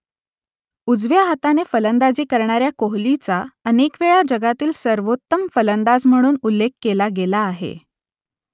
उजव्या हाताने फलंदाजी करणाऱ्या कोहलीचा अनेकवेळा जगातील सर्वोत्तम फलंदाज म्हणून उल्लेख केला गेला आहे